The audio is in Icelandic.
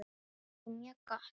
Það er mjög gott.